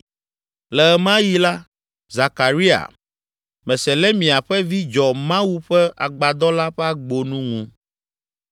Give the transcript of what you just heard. Le ɣe ma ɣi la, Zekaria, Meselemia ƒe vi dzɔ Mawu ƒe Agbadɔ la ƒe agbonu ŋu.